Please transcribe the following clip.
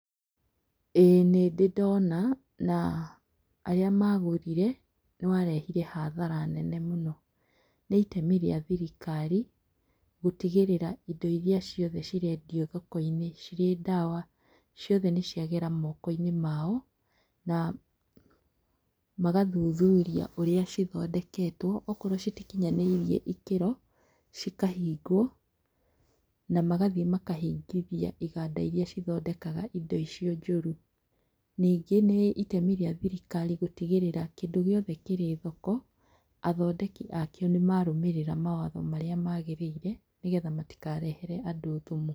ĩĩ nĩndĩ ndona, na arĩa magũthiĩ nĩwarehire hathara nene mũno. Nĩitemi rĩa thirikari gũtigĩrĩra indo iria ciothe cirendio thoko-inĩ, cirĩ ndawa, ciothe nĩciagera moko-inĩ mao. Namagathuturia ũrĩa cithondeketwo. okorwo citiknyanĩirie ikĩro cikahingwo. Namagathiĩ makahingithia iganda iria cithondekaga indo icio njũru. Nyingĩ nĩ itemi rĩa thirikari gũtigĩrĩra kĩndũ gĩothe kĩrĩ thoko, athondeki akĩo nĩmarũmĩrĩra mawatho marĩa magĩrĩire nĩgetha matikarehere andũ thumu.